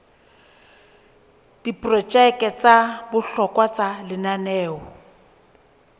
diprojeke tsa bohlokwa tsa lenaneo